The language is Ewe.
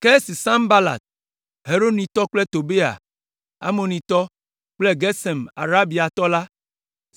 Ke esi Sanbalat Horonitɔ kple Tobia Amonitɔ kple Gesem Arabiatɔ la,